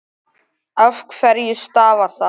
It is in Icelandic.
Af hverju stafar það?